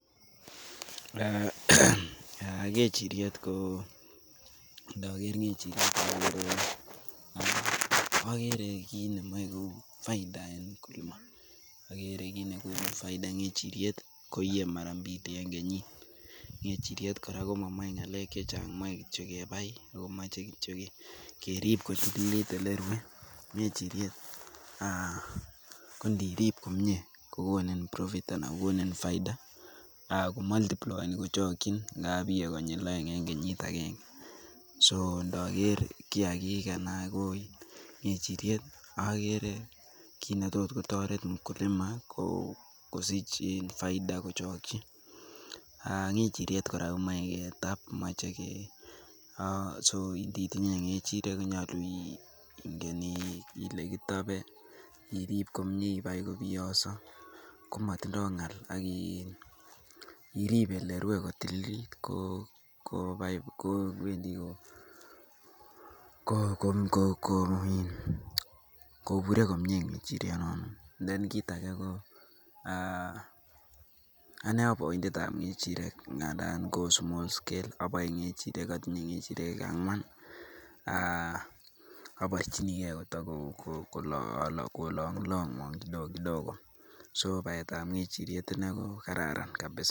Eeh ndoger ng'echiriet, akere kit nemoe ko uu faida en mkulima, akere kit nekonu faida, ng'echiriet koyie mara mbili en kenyit , ng'echiriet kora komomoe ng'alek chechang moe kityok kebai akomoche kityok kerip kotililit elerue ng'echiriet aah kondirip komie kokonin profit anan kokoni faida aah komultplyeni kochokyin ngapi yie konyil aeng en kenyit agenge, so ndoker kiagik anan ng'echiriet akere kit netot kotoret mkulima koo sich faida kochokyi aah ng'echiriet kora komoe ketap moche kee so nditinye ng'echiriet konyolu ingen ile kitopee irip komie ibai kobiyoso komotindoo ng'al akirip komie olerue kotililit koo kobure komie ng'echiriet, then kit age koo anee aboindetab ng'echiriek ng'anda ko small scale atindoi kechiret angwan aah aborchinikee koto kolong longwong kidogo kidogo so baetab ng'echiriet inei ko kararan kabisa.